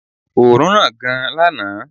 Oòrùn ran gan lànà